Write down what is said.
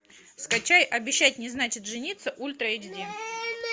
скачай обещать не значит жениться ультра эйч ди